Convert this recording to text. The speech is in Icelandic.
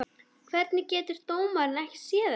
Hvernig getur dómarinn ekki séð þetta?